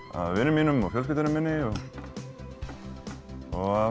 af vinum mínum og fjölskyldunni minni og